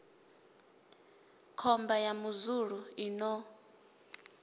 khomba ya muzulu i no